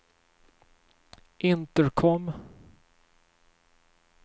intercom